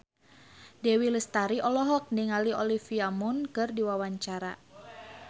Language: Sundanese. Dewi Lestari olohok ningali Olivia Munn keur diwawancara